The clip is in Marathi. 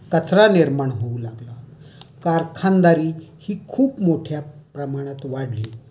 कचरा निर्माण होऊ लागला. कारखानदारी ही खूप मोठ्या प्रमाणात वाढली.